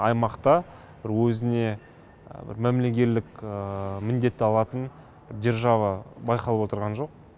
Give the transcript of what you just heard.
аймақта бір өзіне мәмілегерлік міндет алатын держава байқалып отырған жоқ